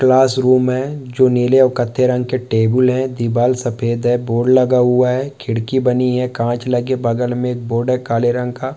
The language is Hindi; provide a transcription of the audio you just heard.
क्लास रूम है जो नील और कत्थे रंग के टेबुल है दीवाल सफेद है बोर्ड लगा हुआ है खिड़की बनी है काँच लगे बगल में बोर्ड है काले रंग का--